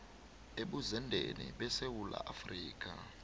ebuzendeni besewula afrika